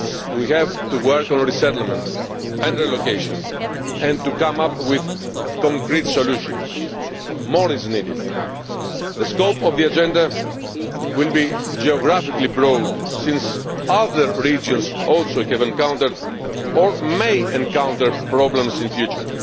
We have to work on resettlement and relocation and to come up with concrete solutions. More is needed. The scope of the Agenda will be geographically broad, since other regions also have encountered or may encounter problems in future.